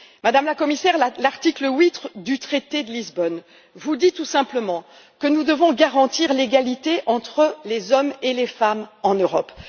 Madame la Commissaire, l'article 8 du traité de Lisbonne dit tout simplement que nous devons garantir l'égalité entre les hommes et les femmes en Europe.